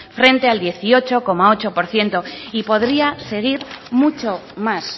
frente al dieciocho coma ocho por ciento y podría seguir mucho más